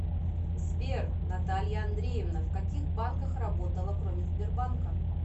сбер наталья андреевна в каких банках работала кроме сбербанка